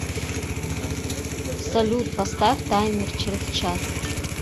салют поставь таймер через час